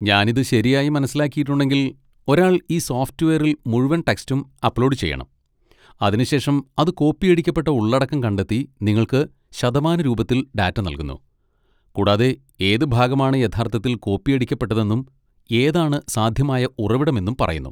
ഞാൻ ഇത് ശരിയായി മനസ്സിലാക്കിയിട്ടുണ്ടെങ്കിൽ, ഒരാൾ ഈ സോഫ്റ്റ്‌വെയറിൽ മുഴുവൻ ടെക്സ്റ്റും അപ്ലോഡ് ചെയ്യണം, അതിനുശേഷം അത് കോപ്പിയടിക്കപ്പെട്ട ഉള്ളടക്കം കണ്ടെത്തി നിങ്ങൾക്ക് ശതമാനരൂപത്തിൽ ഡാറ്റ നൽകുന്നു, കൂടാതെ ഏത് ഭാഗമാണ് യഥാർത്ഥത്തിൽ കോപ്പിയടിക്കപ്പെട്ടതെന്നും ഏതാണ് സാധ്യമായ ഉറവിടം എന്നും പറയുന്നു.